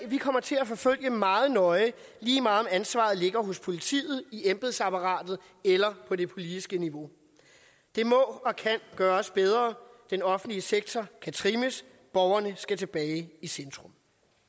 vi kommer til at forfølge meget nøje lige meget om ansvaret ligger hos politiet i embedsapparatet eller på det politiske niveau det må og kan gøres bedre den offentlige sektor kan trimmes borgerne skal tilbage i centrum